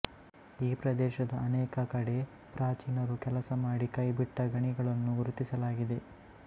ಈ ಪ್ರದೇಶದ ಅನೇಕ ಕಡೆ ಪ್ರಾಚೀನರು ಕೆಲಸಮಾಡಿ ಕೈಬಿಟ್ಟ ಗಣಿಗಳನ್ನು ಗುರುತಿಸಲಾಗಿದೆ